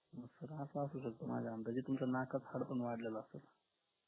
आह sir असं असू शकत माझ्या अंदाजे तुमच्या नाकात हाडं पण वाढलेल असाल